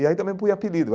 E aí também põe apelido.